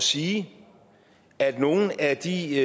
sige at nogle af de